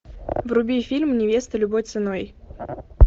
вруби фильм невеста любой ценой